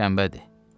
Sabah şənbədir.